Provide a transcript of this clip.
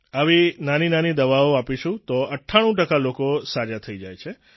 આવી નાનીનાની દવાઓ આપીશું તો 98 ટકા લોકો સાજા થઈ જાય છે